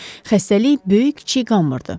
Xəstəlik böyük-kiçik qalmırdı.